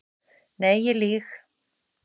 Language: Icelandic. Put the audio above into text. Nei ég lýg.